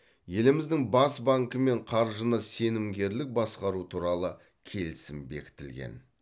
еліміздің бас банкімен қаржыны сенімгерлік басқару туралы келісім бекітілген